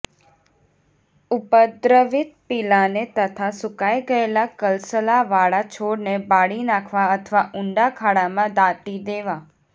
ઉપદ્રવિત પીલાને તથા સુકાઈ ગયેલા કણસલાવાળા છોડને બાળી નાંખવા અથવા ઊંડા ખાડામાં દાટી દેવા